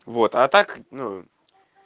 вот а так ну